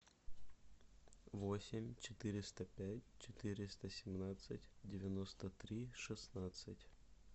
восемь четыреста пять четыреста семнадцать девяносто три шестнадцать